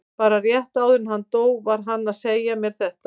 Bara rétt áður en hann dó var hann að segja mér þetta.